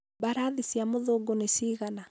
mbarathi cia mũthũngũ nĩ cigana?